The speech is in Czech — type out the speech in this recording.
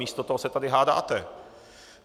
Místo toho se tady hádáte.